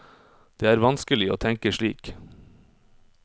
Det er vanskelig å tenke slik.